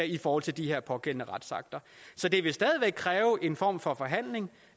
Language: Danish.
i forhold til de her pågældende retsakter så det vil stadig væk kræve en form for forhandling